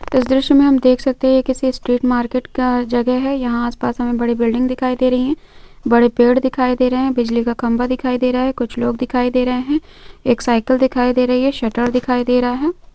इस दृश्य में हम देख सकते हैं किसी स्ट्रीट मार्केट का जगह है यहां आसपास हामें बड़ी बिल्डिंग दिखाई दे रही है बड़े पेड़ दिखाई दे रहे हैं बिजली का खंबा दिखाई दे रहा है कुछ लोग दिखाई दे रहे हैं एक साइकिल दिखाई दे रही है शटर दिखाई दे रहा है।